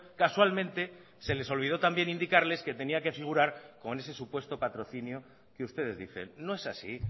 casualmente se les olvidó también indicarles que tenía que figurar con ese supuesto patrocinio que ustedes dicen no es así